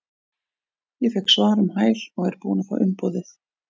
Ég fékk svar um hæl og er búinn að fá umboðið.